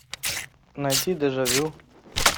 найти дежавю